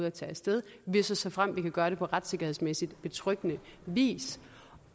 af tage af sted hvis og såfremt vi kan gøre det på retssikkerhedsmæssigt betryggende vis